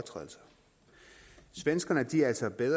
det